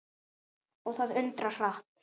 Og það undra hratt.